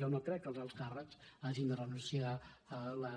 jo no crec que els alts càrrecs hagin de renunciar a la